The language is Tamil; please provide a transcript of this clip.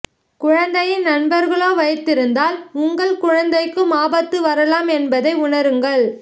குழந்தையின் நண்பர்களோ வைத்திருந்தால் உங்கள் குழந்தைக்கும் ஆபத்து வரலாம் என்பதை உனருங்கள்